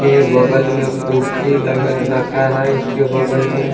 के बगल में कुर्सी लगा रखा है इसके बगल में ।